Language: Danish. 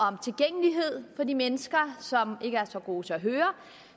om tilgængelighed for de mennesker som ikke er så gode til at høre